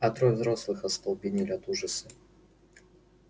а трое взрослых остолбенели от ужаса